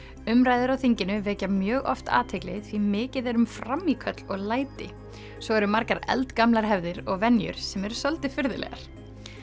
umræður á þinginu vekja mjög oft athygli því mikið er um frammíköll og læti svo eru margar eldgamlar hefðir og venjur sem eru svolítið furðulegar